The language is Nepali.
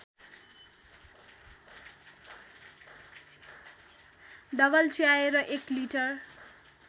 दगल्च्याएर १ लिटर